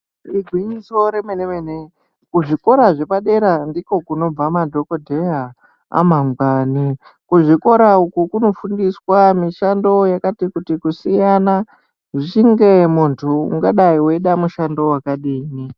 Igwinyiso re mene ku zvikora zvepa dera ndiko kunobva madhokoteya ama gwani ku zvikora uku kunofundiswa mishando yakati kuti kusiyana zvichinge muntu ungadai weida mushando wakadini.